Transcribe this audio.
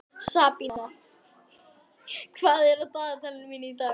Sabína, hvað er á dagatalinu mínu í dag?